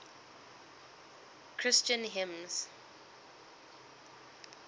christian hymns